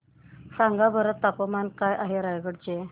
सांगा बरं तापमान काय आहे रायगडा चे